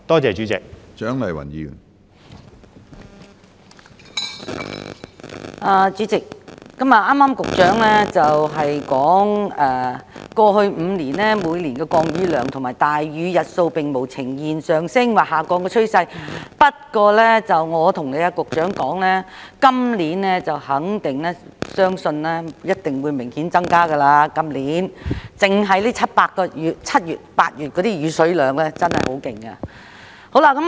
主席，局長剛才表示，過去5年，每年的降雨量和大雨日數並無呈現上升或下降的趨勢，但我要跟局長說，相信今年的數字一定會明顯增加，因為單單7月和8月的降雨量已經很厲害。